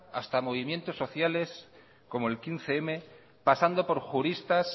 hasta movimientos sociales como el quince mil pasando por juristas